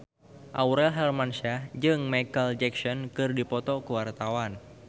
Aurel Hermansyah jeung Micheal Jackson keur dipoto ku wartawan